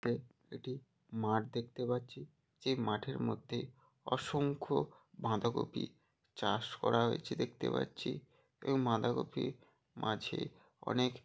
তে মাঠ দেখতে পাচ্ছি। যে মাঠের মধ্যে অসংখ্য বাঁধাকপি চাষ রা হয়েছে দেখতে পাচ্ছি। এবং বাঁধাকপি মাঝে অনেক--